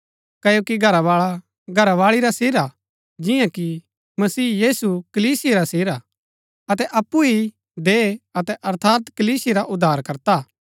क्ओकि घरावाळा घरावाळी रा सिर हा जिआं कि मसीह यीशु कलीसिया रा सिर हा अतै अप्पु ही देह अर्थात कलीसिया रा उद्धारकर्ता हा